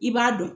I b'a dɔn